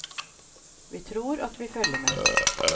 Vi tror at vi følger med.